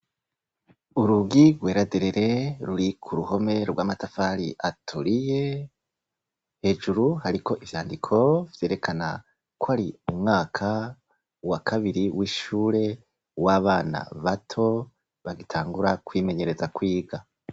Urugi rwera derere ruri ku ruhome rw’amatafari aturiye. Hejuru hariko ivyandiko vyerekana ko ari umwaka wa kabiri w’ishure w’abana bato bagitangura kwimenyereza kwiga.